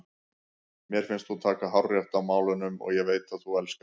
Mér finnst þú taka hárrétt á málunum og ég veit að þú elskar mig.